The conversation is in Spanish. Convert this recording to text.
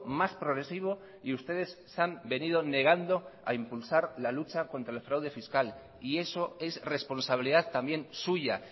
más progresivo y ustedes se han venido negando a impulsar la lucha contra el fraude fiscal y eso es responsabilidad también suya